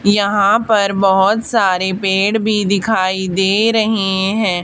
यहां पर बहोत सारे पेड़ भी दिखाई दे रहे हैं।